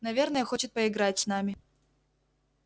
наверное хочет поиграть с нами